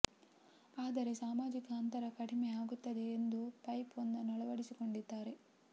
ಆದರೆ ಸಾಮಾಜಿಕ ಅಂತರ ಕಡಿಮೆ ಆಗುತ್ತದೆ ಎಂದು ಪೈಪ್ ಒಂದನ್ನು ಅಳವಡಿಸಿಕೊಂಡಿದ್ದಾನೆ